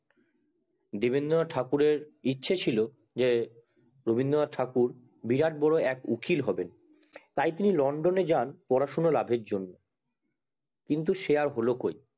দেবেন্দ্রনাথ ঠাকুর এর ইচ্ছা ছিলো যে রবীন্দ্রনাথ ঠাকুর বিরাট বড় এক উকিল হবে তাই তিনি লন্ডন এ যান পড়াশুনো লাভের জন্য কিন্তু সে আর হলো কোই